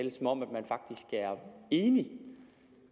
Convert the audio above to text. er enig